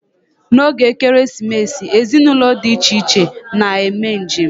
N'oge Ekeresimesi, ezinụlọ di iche iche na-eme njem.